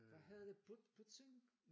Hvad hedder det pudsning?